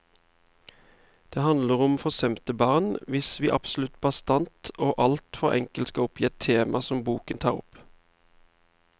Det handler om forsømte barn, hvis vi absolutt bastant og alt for enkelt skal oppgi et tema som boken tar opp.